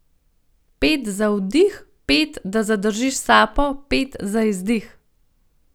Pet za vdih, pet, da zadržiš sapo, pet za izdih.